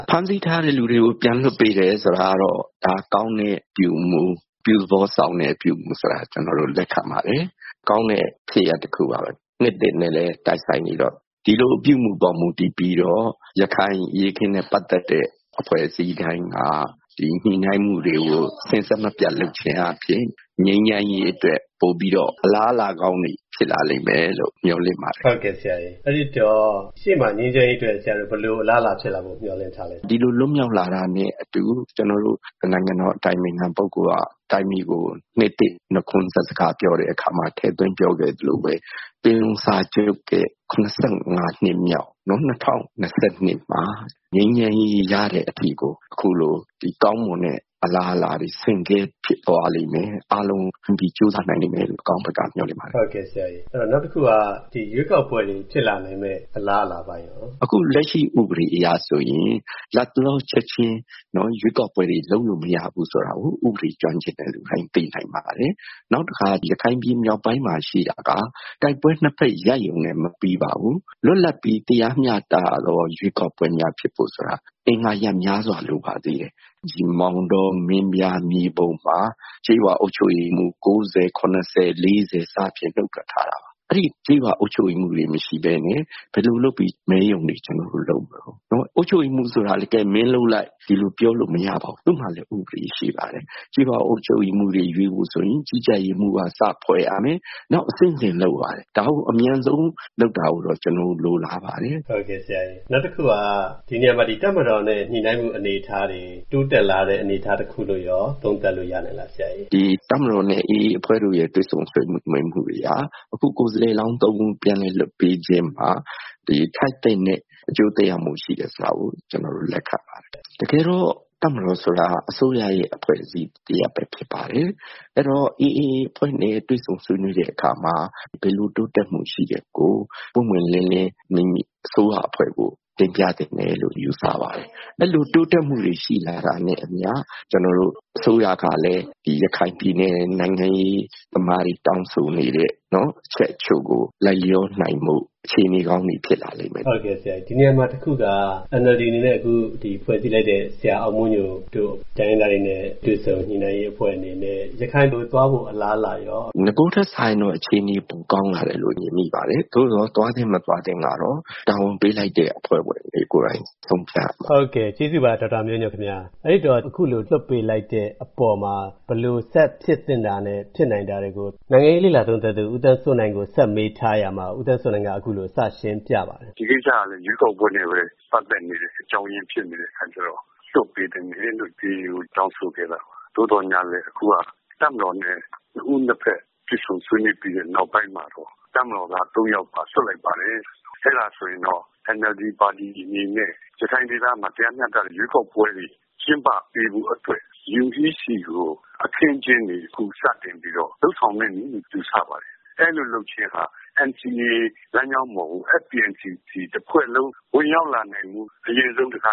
ဖမ်းဆီးထားတဲ့ လူတွေကို ပြန်လွှတ်ပေးတယ်ဆိုတာကတော့ ဒါက ကောင်းတဲ့ အပြုအမှု ၊ အပြုသဘောဆောင်တဲ့ အပြုအမှုဆိုတာ ကျနော်တို့ လက်ခံပါတယ်။ ကောင်းတဲ့ ဖြစ်ရပ်တခုပါပဲ နှစ်သစ်နဲ့လည်း တိုက်ဆိုင်နေတော့ ဒီလိုအပြုအမှုမှာ မူတည်ပြီးတော့ ရခိုင်အရေးအခင်းနဲ့ ပတ်သက်တဲ့ အဖွဲ့အစည်းတိုင်းက ဒီညှိနှိုင်းမှုတွေကို စဉ်ဆက်မပျက်လုပ်ခြင်းအားဖြင့် ငြိမ်းချမ်းရေးအတွက် ပိုပြီးတော့ အလားအလာကောင်းတွေ ဖြစ်လာလိမ့်မယ်လို့ မျှော်လင့်ပါတယ်။ ဟုတ်ကဲ့ဆရာရေ အဲဒီတော့ ရှေ့မှာငြိမ်းချမ်းရေးအတွက် ဘယ်လိုအလားလာဖြစ်လာဖို့ မျှော်လင့်ထားသလဲ။ ဒီလို လွတ်မြောက်လာတာနဲ့အတူ ကျနော်တို့ နိုင်ငံတော် အတိုင်ပင်ခံ ပုဂ္ဂိုလ်က တိုင်းပြည်ကို နှစ်သစ်နှုတ်ခွန်းဆက်စကားပြောတဲ့အခါမှာ ထည့်သွင်းပြောခဲ့သလိုပဲ ပင်လုံစာချုပ်ရဲ့ ၇၅ နှစ်မြောက် ၂၀၂၂ မှာ ငြိမ်းချမ်းရေးရတဲ့အထိကို အခုလို ကောင်းမွန်တဲ့အလားအလာတွေ ဆင့်ကဲဖြစ်လိမ့်မယ်။ အားလုံးကြိုးစားလိမ့်မယ်လို့ အကောင်းဘက်က မျှော်လင့်ပါတယ်။ ဟုတ်ကဲ့ဆရာရေ နောက်တခုက ရွေးကောက်ပွဲတွေ ဖြစ်လာနိုင်မယ့်အလားအလာတွေရော။ အခုလက်ရှိ ဥပဒေအရဆိုရင် လက်တလောချက်ချင်း ရွေးကောက်ပွဲတွေလုပ်လို့ မရဘူးဆိုတာကို ဥပဒေကျွမ်းကျင်သူတွေ သိနိုင်ပါတယ်။ နောက်တခါ ရခိုင်ပြည်မြောက်ပိုင်းမှာ ရှိတာက တိုက်ပွဲ ၂ ဖက် ရပ်ရုံနဲ့ မပြီးပါဘူး။ လွတ်လပ်ပြီး တရားမျှတတဲ့ ရွေးကောက်ပွဲများဖြစ်ဖို့ဆိုတာက အင်္ဂါရပ်များစွာလိုပါတယ်။ မောင်တော ၊ မင်းပြား၊ မြေပုံမှာ ကျေးရွာအုပ်ချုပ်ရေးမှူး ၉၀၊ ၇၀ ၊ ၄၀ စသည်ဖြင့် နုတ်ထွက်ထားတာပါ။ အဲဒီ ကျေးရွာအုပ်ချုပ်ရေးမှူးတွေ မရှိပဲနဲ့ ဘယ်လိုလုပ်ပြီး မဲရုံတွေ ကျနော်တို့ လုပ်မတုန်း။ ကျေးရွာအုပ်ချုပ်ရေးမှူး ဆိုတာကလည်း မင်းလုပ်လိုက်.. ဆိုပြီး ပြောလို့မရပါဘူး။ သူတို့မှာလည်း ဥပဒေရှိပါတယ်။ ကျေးရွာအုပ်ချုပ်ရေးမှူးတွေ ရွေးဖို့ဆိုရင် ကြီးကြပ်ရေးမှူကစ ဖွဲ့ရမယ် ။ နောက်ပြီးတော့ အဆင့်ဆင့်လုပ်ရပါတယ်။ ဒါကိုအမြန်ဆုံး လုပ်တာကိုတော့ ကျနော်တို့ လိုလားပါတယ်။ ဟုတ်ကဲ့ဆရာရေ ဒီနေရာမှာ တပ်မတော်နဲ့ ညှိနှိုင်းမှု အနေအထားတွေ တိုးတက်လာတဲ့ အနေအထား တခုလို့ရော သုံးသပ်လို့ရနိုင်သလား ဆရာရေ။ တပ်မတော်နဲ့ AA အဖွဲ့တို့ရဲ့ တွေ့ဆုံဆွေးနွေးမှုတွေက အခု ကိုယ်စားလှယ်လောင်း ၃ ဦး ပြန်လည်လွှတ်ပေးချင်းမှာ ထိုက်သင့်တဲ့ အကျိုးသက်ရောက်မှု ရှိတယ်ဆိုတာကို ကျနော်တို့ လက်ခံပါတယ်။ တကယ်တော့ တပ်မတော်ဆိုတာက အစိုးရရဲ့ အဖွဲ့အစည်းတရပ်ဖြစ်ပါတယ်။ အဲဒီတော့ AA အဖွဲ့နဲ့ တွေ့ဆုံဆွေးနွေးတဲ့ အခါမှာ ဘယ်လိုတိုးတက်မှုရှိတာကို ပွင့်ပွင့်လင်းလင်း မိမိ အစိုးရအဖွဲ့ကို တင်ပြသင့်တယ်လို့ ယူဆပါတယ်။ အဲဒီလို တိုးတက်မှုတွေ ရှိလာတာနဲ့ အမျှ ကျနော်တို့ အစိုးရကလည်း ရခိုင်ပြည်နယ် နိုင်ငံရေးသမားတွေ တောင်းဆိုနေတဲ့ အချက်အချို့ကို လိုက်လျောနိုင်ဖို့ အခြေအနေကောင်း တွေဖြစ်လာလိမ့်မယ်။ ဟုတ်ကဲ့ဆရာရေ ဒီနေရာမှာ တခုက NLD အနေနဲ့ အခုဖွဲ့စည်းလိုက်တဲ့ ဆရာအောင်မိုးညိုတို့ တိုင်းရင်းသားတွေနဲ့ တွေ့ဆုံညှိနှိုင်းရေးအဖွဲ့အနေနဲ့ ရခိုင်ကို သွားဖို့ အလားအလာရော။ နဂိုထက်စာရင်တော့ အခြေအနေ ပိုကောင်းလာတယ်လို့ မြင်မိပါတယ်။ သို့သော် သွားသင့် မသွားသင့်ကတော့ တာဝန်ပေးလိုက်တဲ့ အဖွဲ့တွေကိုယ်တိုင်ဆုံးဖြတ်ရမှာပါ။” ဒီကိစ္စမှာလည်း ရွေးကောက်ပွဲနဲ့ပဲ ပတ်သက်နေတဲ့ အကြောင်းအရင်းဖြစ်နေတာကြောင့် လွှတ်ပေးသင့်တယ်လို့ AA ကိုတောင်းဆိုခဲ့တာပါ။ သို့သော်လည်း အခုက တပ်မတော်နဲ့ ၂ ဦး ၂ ဖက် တွေ့ဆုံဆွေးနွေးပြီးတဲ့ နောက်ပိုင်းမှာတော့ တပ်မတော်သား ၃ ယောက်ကို လွှတ်လိုက်ပါတယ်။ အဲဒါဆိုရင်တော့ NLD ပါတီအနေနဲ့ ရခိုင်ဒေသမှာ တရားမျှတတဲ့ ရွေးကောက်ပွဲတွေ ကျင်းပပေးဖို့အတွက် UEC ကို အခင်းအကျင်းတွေ အခုစတင်ပြီးတော့ လုပ်ဆောင်မယ့်နည်းလို့ ယူဆပါတယ်။ အဲဒီကို လုပ်ခြင်းဟာ NCA လမ်းကြောင်းပေါ်ကို FPNCC တဖွဲ့လုံး ဝင်ရောက်လာနိုင်ဖို့ အရင်ဆုံး တခါ